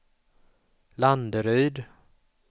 Landeryd